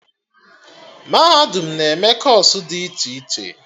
Mahadum na-eme kọọsụ dị iche iche